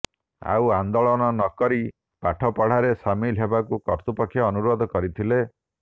ଆଉ ଆନ୍ଦୋଳନ ନ କରି ପାଠ ପଢ଼ାରେ ସାମିଲ ହେବାକୁ କର୍ତ୍ତୃପକ୍ଷ ଅନୁରୋଧ କରିଥିଲେ